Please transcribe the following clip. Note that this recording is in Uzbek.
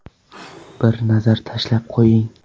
Bir nazar tashlab qo‘ying.